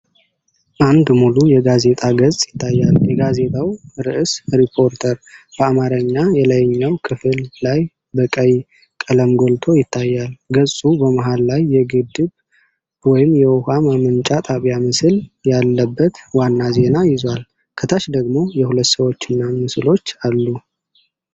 አንድ ሙሉ የጋዜጣ ገጽ ይታያል፤ የጋዜጣው ርዕስ "ሪፖርተር" በአማርኛ የላይኛው ክፍል ላይ በቀይ ቀለም ጎልቶ ይታያል። ገጹ በመሃል ላይ የግድብ ወይም የውሃ ማመንጫ ጣቢያ ምስል ያለበት ዋና ዜና ይዟል። ከታች ደግሞ የሁለት ሰዎችና ምስሎች አሉ።